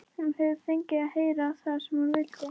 Hún hefur fengið að heyra það sem hún vildi.